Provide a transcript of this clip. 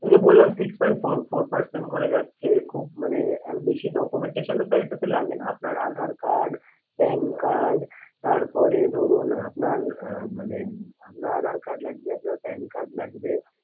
ওই যে বললাম six point four four percent করে যাচ্ছে খুব মানে আহ বেশি documentation ও তো এটাতে লাগে না আপনার aadhaar card PAN card তারপরে ধরুন আপনার আহ মানে আপনার aadhaar card লাগবে আপনার PAN card লাগবে